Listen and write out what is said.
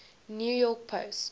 new york post